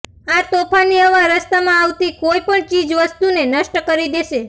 આ તોફાની હવા રસ્તામાં આવતી કોઈ પણ ચીજ વસ્તુને નષ્ટ કરી દેશે